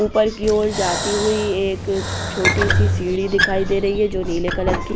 ऊपर की ओर जाती हुई एक छोटी सी सीढ़ी दिखाई दे रही हैं जो नीले कलर की --